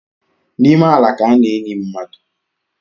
N’ime ala ka a na-eni mmadụ